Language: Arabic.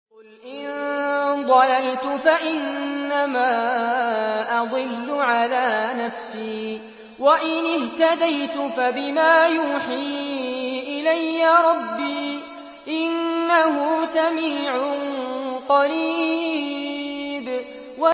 قُلْ إِن ضَلَلْتُ فَإِنَّمَا أَضِلُّ عَلَىٰ نَفْسِي ۖ وَإِنِ اهْتَدَيْتُ فَبِمَا يُوحِي إِلَيَّ رَبِّي ۚ إِنَّهُ سَمِيعٌ قَرِيبٌ